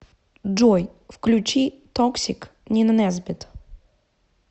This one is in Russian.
джой включи токсик нина несбитт